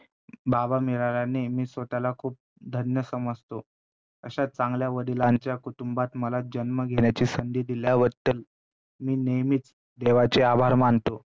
बाबा मिळाल्याने मी स्वतःला खूप धन्य समजतो, अशा चांगल्या वडिलांच्या कुटुंबात मला जन्म घेण्याची संधी दिल्याबद्दल मी नेहमीच देवाचे आभार मानतो.